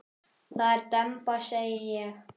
Það er demba segi ég.